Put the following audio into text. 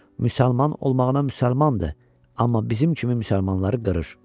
Müsəlman olmağına müsəlmandır, amma bizim kimi müsəlmanları qırır.